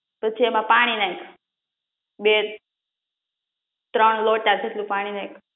પછી એમા પણી નાખ બે ત્રણ લોટા જેટલું પાણી નાખ